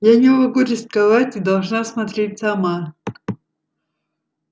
я не могу рисковать и должна смотреть сама